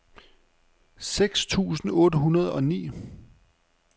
seksten tusind otte hundrede og ni